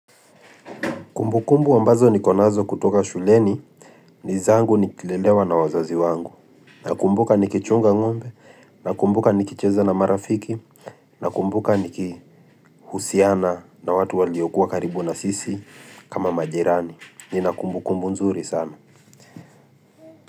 Kumbukumbu ambazo nikonazo kutoka shuleni, nizangu nikilelewa na wazazi wangu. Nakumbuka nikichunga ngombe, nakumbuka nikicheza na marafiki, nakumbuka nikihusiana na watu waliokuwa karibu na sisi kama majirani. Ninakumbukumbu nzuri sana.